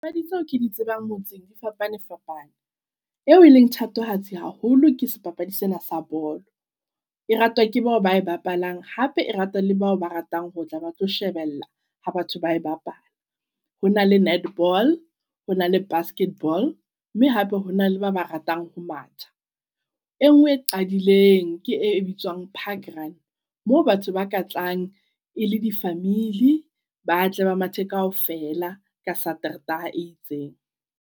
Papadi tseo di tsebang motseng, di fapane fapane. Eo e leng thatohatsi haholo ke sebapadi sena sa bolo, e ratwa ke bao bae bapalang. Hape e ratwa le bao ba ratang ho tla ba tlo shebella ha batho ba e bapala. Ho na le netball ho na le basketball, mme hape hona le ba ba ratang ho matha. E ngwe e qadileng ke e, e bitswang park run. Moo batho ba ka tlang e le di family, ba tle ba mathe kaofela ka Satertaha e itseng.